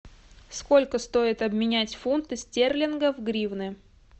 сколько стоит обменять фунты стерлингов в гривны